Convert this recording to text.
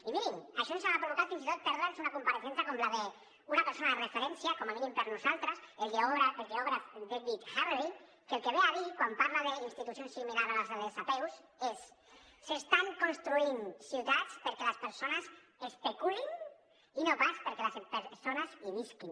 i mirin això ens ha provocat fins i tot perdre’ns una compareixença com la d’una persona de referència com a mínim per nosaltres el geògraf david harvey que el que ve a dir quan parla d’institucions similars a les apeus és s’estan construint ciutats perquè les persones especulin i no pas perquè les persones hi visquin